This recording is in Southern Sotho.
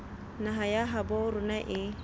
naha ya habo rona e